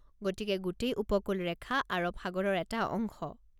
গতিকে গোটেই উপকূল ৰেখা আৰৱ সাগৰৰ এটা অংশ?